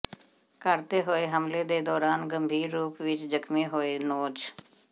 ਘਰ ਤੇ ਹੋਏ ਹਮਲੇ ਦੇ ਦੌਰਾਨ ਗੰਭੀਰ ਰੂਪ ਵਿੱਚ ਜਖਮੀ ਹੋਏ ਨੌਜ